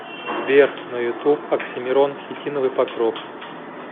сбер на ютуб оксимирон хитиновый покров